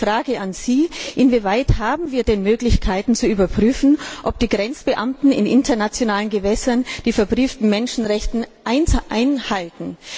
Meine Frage an Sie Inwieweit haben wir denn Möglichkeiten, zu überprüfen, ob die Grenzbeamten in internationalen Gewässern die verbrieften Menschenrechte einhalten?